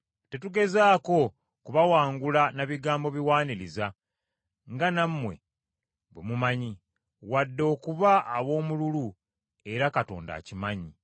Tetugezangako kubawangula na bigambo biwaaniriza nga nammwe bwe mumanyi, wadde okuba ab’omululu era Katonda akimanyi,